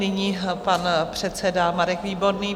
Nyní pan předseda Marek Výborný.